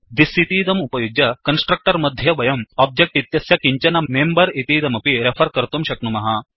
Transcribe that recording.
this इतीदम् उपयुज्य constructor मध्ये वयं ओब्जेक्ट् इत्यस्य किञ्चन मेम्बर् इतीदमपि रेफर् कर्तुं शक्नुमः